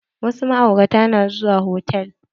Wasu ma'auratan na zuwa hotal.